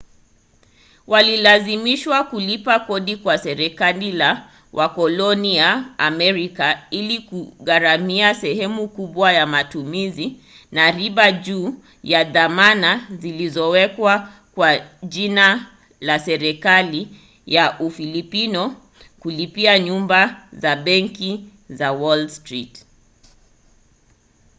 walilazimishwa kulipa kodi kwa serikali ya wakoloni ya amerika ili kugharamia sehemu kubwa ya matumizi na riba juu ya dhamana zilizowekwa kwa jina la serikali ya ufilipino kupitia nyumba za benki za wall street